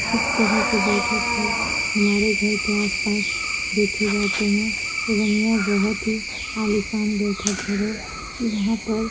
इस तरफ के बैठक हर हमारे घर के आस-पास देखे जाते हैं एवं यह बहुत ही आलीशान बैठक घर हैयहाँ पर